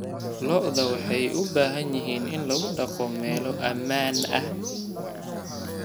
Lo'du waxay u baahan yihiin in lagu dhaqdo meelo ammaan ah.